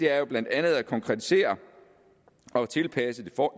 er jo blandt andet at konkretisere og tilpasse